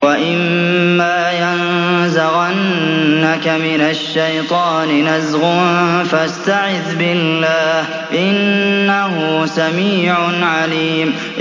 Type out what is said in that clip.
وَإِمَّا يَنزَغَنَّكَ مِنَ الشَّيْطَانِ نَزْغٌ فَاسْتَعِذْ بِاللَّهِ ۚ إِنَّهُ سَمِيعٌ عَلِيمٌ